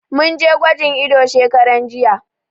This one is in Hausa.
Mun je gwajin ido shekaran jiya.